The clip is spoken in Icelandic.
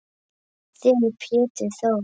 Þinn Pétur Þór.